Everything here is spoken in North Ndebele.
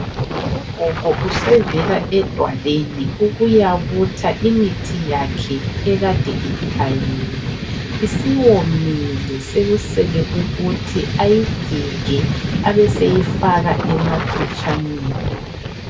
Ugogo usevela edwalweni ukuyabutha imithi yakhe ekade ichayiwe isiwomile sekusele ukuthi ayigige abeseyifaka emaphetshaneni